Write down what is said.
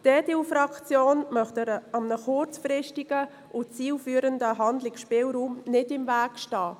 Die EDU-Fraktion möchte einem kurzfristigen und zielführenden Handlungsspielraum nicht im Wege stehen.